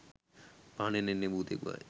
පහනෙන් එන්නේ භූතයක් බවයි.